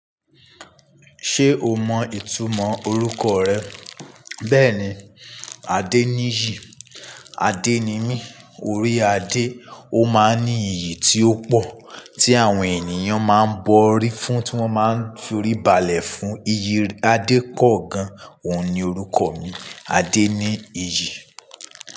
Ṣé o mọ ìtumọ̀ orúkọ rẹ? Bẹ́ẹ̀ni, Adeniyi. Ade ni mí, orí Ade. Ó máa ń ní iyì tí ó pọ̀ tí àwọn ènìyàn máa ń bọ̀rí fún tí wọ́n máa ń firibàlẹ̀ fún. Iyì Ade pọ̀ gan. Óun ni orúkọ mi, Adeniyi.